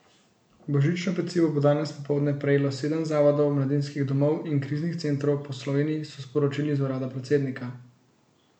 Božično pecivo bo danes popoldne prejelo sedem zavodov, mladinskih domov in kriznih centrov po Sloveniji, so sporočili iz urada predsednika.